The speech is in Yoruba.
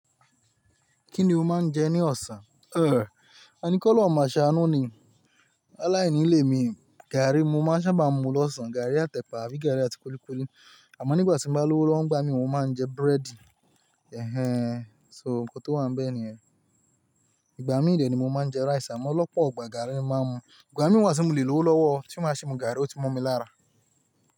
Kí ni o máa ń jẹ ní ọ̀sán? Ẹ ani k'olorun máa ṣe àánú ni. Áláìní lé mi, gààrí mo máa ń sábà mu lọ́sàn-án, gààrí àtẹ̀pà àbí gààrí àti kúlíkúlí. Àmọ́ nígbà tí m bá lówó lọ́wọ́ ń gbá mi, mo máa ń jẹ búrẹ́dì. Ẹ̀hẹn. So, nǹkan tó wà níbẹ̀ nìyẹn. Ìgbà mí dẹ̀ ni mo máa ń jẹ rice, àmọ́ lọ́pọ̀ igbà gààrí ni mo máa ń mu. Ìgbà mí wà tí mo lè lówó lọ́wọ́, tí máa ṣi mu gààrí, ó ti mo mi lára.